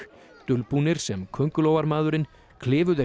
dulbúnir sem köngulóarmaðurinn klifu þeir